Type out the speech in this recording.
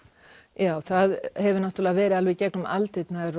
já það hefur náttúrulega verið alveg í gegnum aldirnar